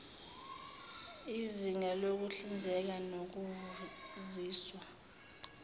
yizinga lokuhlinza nokuvuziswa